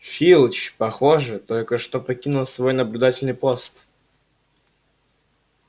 филч похоже только что покинул свой наблюдательный пост